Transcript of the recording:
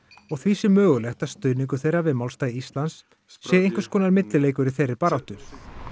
og því sé mögulegt að stuðningur þeirra við málstað Íslands sé einhvers konar millileikur í þeirri baráttu